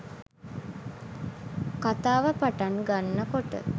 කතාව පටන් ගන්නකොට